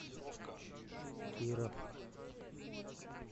киров